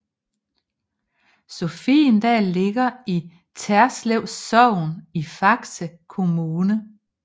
Sofiedal ligger i Terslev Sogn i Faxe Kommune